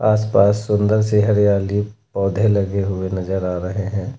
आसपास सुंदर सी हरियाली पौधे लगे हुए नजर आ रहे हैं।